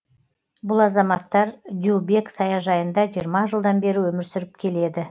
бұл азаматтар дюбек саяжайында жиырма жылдан бері өмір сүріп келеді